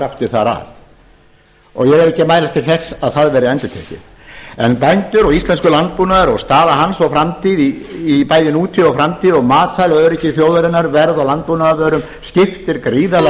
þar að og ég er ekki að mælast til þess að það verði endurtekið en bændur og íslenskur landbúnaður og staða hans og framtíð í bæði nútíð og framtíð og matvælaöryggi þjóðarinnar og verð á landbúnaðarvörum skiptir gríðarlega